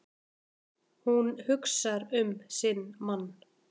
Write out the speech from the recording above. Hún hugsar um sinn mann.